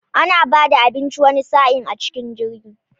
Ana bada abinci wani sa'in a cikin jirgi